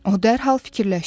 O dərhal fikirləşdi.